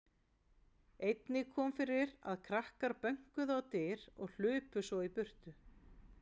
Einnig kom fyrir að krakkar bönkuðu á dyr og hlupu svo í burtu.